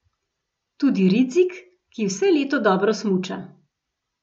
Tudi Ridzik, ki vse leto dobro smuča.